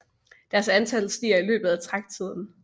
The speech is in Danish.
Deres antal stiger i løbet af træktiden